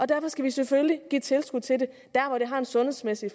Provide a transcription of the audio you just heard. derfor skal vi selvfølgelig give tilskud til det der hvor det har sundhedsmæssig